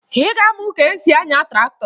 Ị ga-amụ ka e si anya traktọ